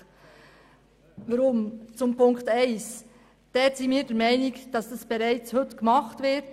Was die Ziffer 1 betrifft, sind wir der Meinung, dass dies heute bereits so gemacht wird.